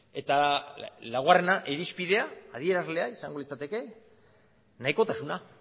eta laugarrena irizpidea adierazlea izango litzateke nahikotasuna